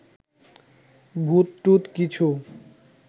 ভূতটুত কিছু